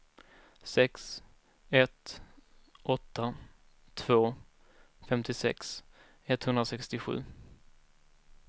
sex ett åtta två femtiosex etthundrasextiosju